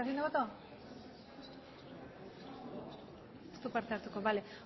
voto ez du parte hartuko